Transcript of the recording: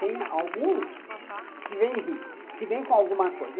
Tem alguns que vêm ricos, que vêm com alguma coisa.